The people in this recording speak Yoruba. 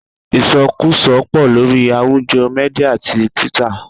Isokuso pò lórí àwùjọ Mídíà tí Twitter.